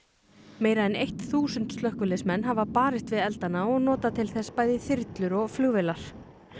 meira en eitt þúsund slökkviliðsmenn hafa barist við eldana og notað til þess bæði þyrlur og flugvélar